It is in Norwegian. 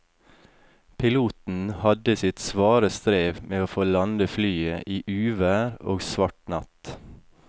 Piloten hadde sitt svare strev med å få landet flyet i uvær og svart natt.